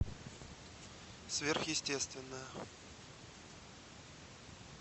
сверхъестественное